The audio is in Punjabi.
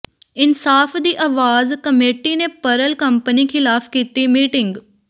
ਇਨਸਾਫ ਦੀ ਆਵਾਜ਼ ਕਮੇਟੀ ਨੇ ਪਰਲ ਕੰਪਨੀ ਖਿਲਾਫ਼ ਕੀਤੀ ਮੀਟਿੰਗ